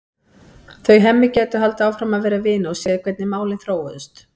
Þau Hemmi gætu haldið áfram að vera vinir og séð hvernig málin þróuðust.